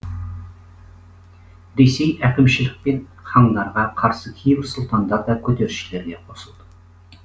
ресей әкімшілік мен хандарға қарсы кейбір сұлтандар да көтерілісшілерге қосылды